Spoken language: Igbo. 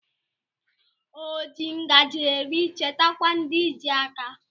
O ji ngajị eri chetakwa ndị ji áká.